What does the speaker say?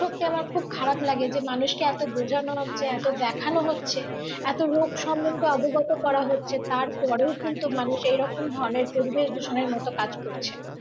সত্যি আমার খুব খারাপ লাগে যে মানুষকে এত বোঝানো হচ্ছে এত দেখানো হচ্ছে এত রোগ সম্বন্ধে অবগত করা হচ্ছে তারপরেও কিন্তু মানুষ এরকম ধরনের পরিবেশ দূষণ এর মত কাজ করছে